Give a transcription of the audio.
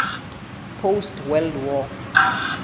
post world war